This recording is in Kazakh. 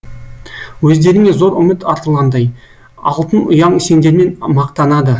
өздеріңе зор үміт артылғандай алтын ұяң сендермен мақтанады